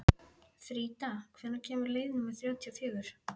Frida, hvenær kemur leið númer þrjátíu og fjögur?